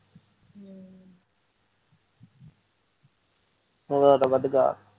ਉਹਦਾ ਤਾਂ ਵਧੀਆ